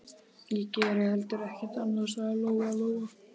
Ég geri heldur ekkert annað, sagði Lóa Lóa.